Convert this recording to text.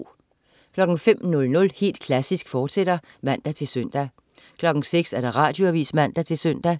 05.00 Helt Klassisk, fortsat (man-søn) 06.00 Radioavis (man-søn)